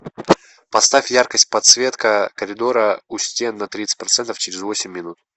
поставь яркость подсветка коридора у стен на тридцать процентов через восемь минут